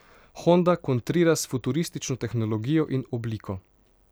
Honda kontrira s futuristično tehnologijo in obliko.